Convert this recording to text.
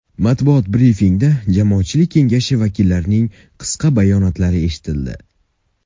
Matbuot brifingida Jamoatchilik kengashi vakillarining qisqa bayonotlari eshitildi.